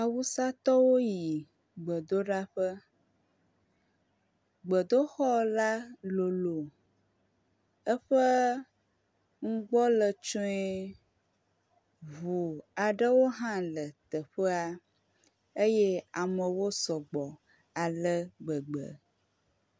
awusatɔwo yi gbedoɖaƒe, gbedoxɔ la lolo eƒe ŋugbɔ le tsoɛ̃ ʋu aɖewo ha le teƒea eye amewo sɔgbɔ alegbegbe